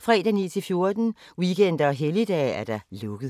fredag 9.00-14.00, weekender og helligdage: lukket.